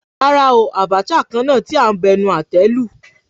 Rárá oo, Abacha kan náà tí a ń bu ẹnu àtẹ́ lù.